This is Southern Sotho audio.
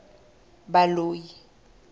baloi